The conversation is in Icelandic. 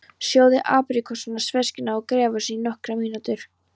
Sjóðið apríkósurnar, sveskjurnar og gráfíkjurnar í nokkrar mínútur.